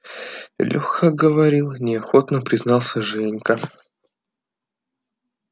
лёха говорил неохотно признался женька